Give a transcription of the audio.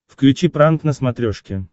включи пранк на смотрешке